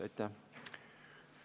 Aitäh!